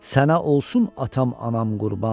Sənə olsun atam anam qurban.